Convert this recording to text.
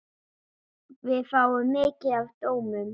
Við fáum mikið af dómum.